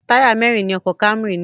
Táyà mẹ́rin ni ọkọ̀ Camry ní.